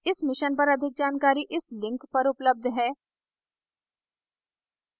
इस mission पर अधिक जानकारी इस link पर उपलब्ध है